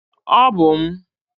Ọ bụ m.